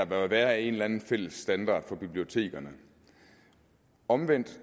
bør være en eller anden fælles standard for bibliotekerne omvendt